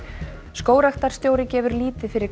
skógræktarstjóri gefur lítið fyrir